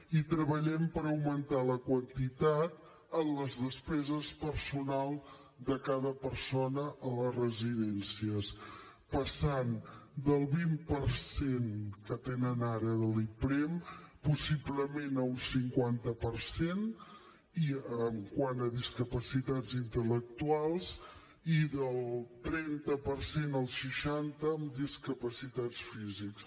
i treballem per augmentar la quantitat en les despeses personals de cada persona a les residències passant del vint per cent que tenen ara de l’iprem possiblement a un cinquanta per cent quant a discapacitats intel·lectuals i del trenta per cent al seixanta en discapacitats físics